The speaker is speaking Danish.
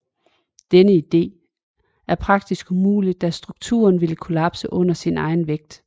Denne idé er praktisk umulig da strukturen ville kollapse under sin egen vægt